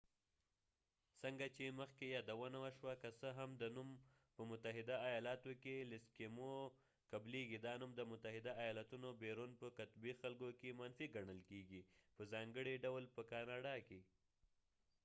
څنګه چې مخکې یادونه وشوه ،که څه هم د ایسکېموeskim o نوم په متحده ایالاتو کې قبلیږی، دا نوم د متحده ایالاتونه بیرون په قطبی خلکو کې منفی ګڼل کېږی په ځانګړی ډول په کاناډا کې